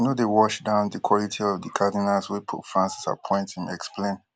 i no dey wash down di quality of di cardinals wey pope francis appoint im explain